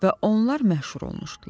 Və onlar məşhur olmuşdular.